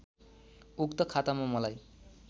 उक्त खातामा मलाई